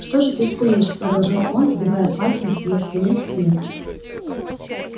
что же ты скулишь продолжал он сбивая пальцем с её спины снег